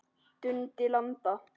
Dundi landa!